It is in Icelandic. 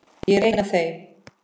Ég er ein af þeim.